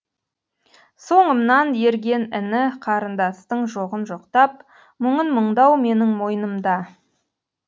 соңымнан ерген іні қарындастың жоғын жоқтап мұңын мұңдау менің мойнымда